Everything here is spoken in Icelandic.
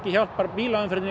hjálpar bílaumferðinni